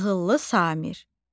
Ağıllı Samir.